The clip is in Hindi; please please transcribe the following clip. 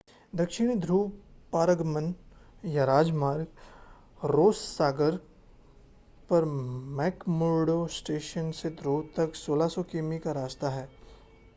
दक्षिणी ध्रुव पारगमन या राजमार्ग रॉस सागर पर मैक्मुर्डो स्टेशन से ध्रुव तक 1600 किमी का रास्ता है